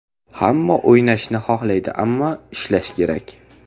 Hamma o‘ynashni xohlaydi, ammo ishlash kerak.